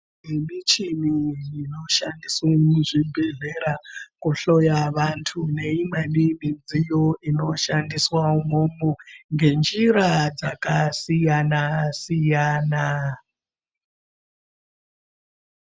Nemichini inoshandiswe muzvibhehlera kuhloya vantu neimweni midziyo inoshandiswa imwomwo ngenjira dzakasiyana -siyana.